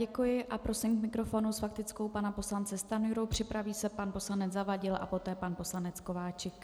Děkuji a prosím k mikrofonu s faktickou pana poslance Stanjuru, připraví se pan poslanec Zavadil a poté pan poslanec Kováčik.